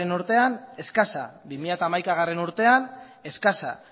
urtean eskasa bi mila hamaikagarrena urtean eskasa